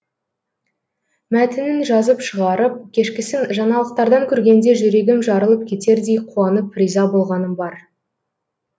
мәтінін жазып шығарып кешкісін жаңалықтардан көргенде жүрегім жарылып кетердей қуанып риза болғаным бар